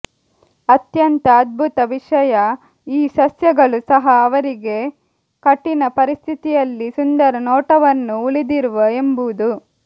ಅತ್ಯಂತ ಅದ್ಭುತ ವಿಷಯ ಈ ಸಸ್ಯಗಳು ಸಹ ಅವರಿಗೆ ಕಠಿಣ ಪರಿಸ್ಥಿತಿಯಲ್ಲಿ ಸುಂದರ ನೋಟವನ್ನು ಉಳಿದಿರುವ ಎಂಬುದು